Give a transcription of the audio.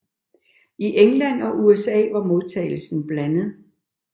I England og USA var modtagelsen blandet